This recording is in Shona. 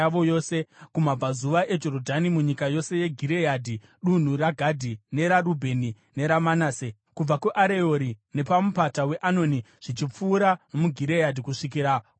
kumabvazuva eJorodhani munyika yose yeGireadhi (dunhu raGadhi, neraRubheni neraManase), kubva kuAreori nepaMupata weAnoni zvichipfuura nomuGireadhi kusvikira kuBhashani.